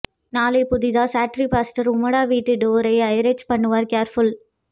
நாளை புதிதா சாட்றீபாஸ்டர் உம்மட வீட்டு டோர் ஐ ரச் பண்ணுவார் கேர்புல்